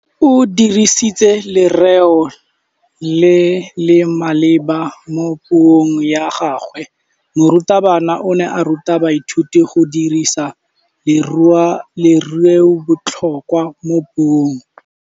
O dirisitse lerêo le le maleba mo puông ya gagwe. Morutabana o ne a ruta baithuti go dirisa lêrêôbotlhôkwa mo puong.